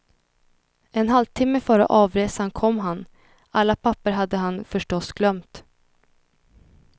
En halvtimme före avresan kom han, alla papper hade han förstås glömt.